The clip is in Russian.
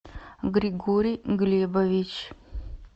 григорий глебович